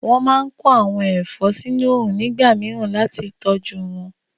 Wọ́n máa kó àwọn ẹ̀fọ́ sínu òrùn nígbà mìíràn láti tọjú wọn